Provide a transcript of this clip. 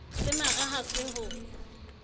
se mara ha se ho